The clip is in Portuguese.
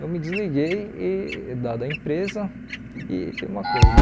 Eu me desliguei, e da da a empresa, e tem uma coisa, né?